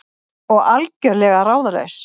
Og algjörlega ráðalaus.